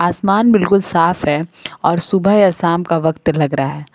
आसमान बिल्कुल साफ है और सुबह या शाम का वक्त लग रहा है।